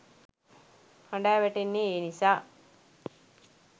හඬා වැටෙන්නේ ඒ නිසා.